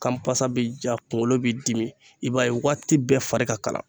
Kanpasa bɛ ja kunkolo bɛ dimi i b'a ye waati bɛɛ fari ka kalan